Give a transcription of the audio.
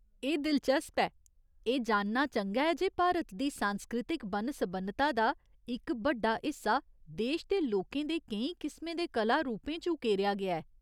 एह् दिलचस्प ऐ ! एह् जानना चंगा ऐ जे भारत दी सांस्कृतिक बन्न सबन्नता दा इक बड्डा हिस्सा देश दे लोकें दे केई किसमें दे कला रूपें च उकेरेआ गेआ ऐ।